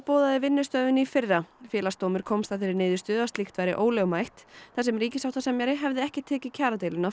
boðaði vinnustöðvun í fyrra Félagsdómur komst að þeirri niðurstöðu að slíkt væri ólögmætt þar sem ríkissáttasemjari hefði ekki tekið kjaradeiluna